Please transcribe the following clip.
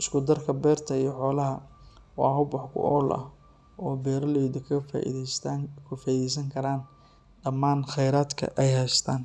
isku darka beerta iyo xoolaha waa hab wax ku ool ah oo beeraleydu kaga faa’iideysan karaan dhammaan kheyraadka ay haystaan.